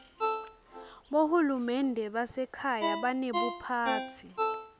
bohulumende basekhaya banebuphatsi